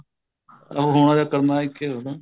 ਹੋਣਾ ਜਾਂ ਕਰਨਾ ਇੱਕ ਹੀ ਗੱਲ ਏ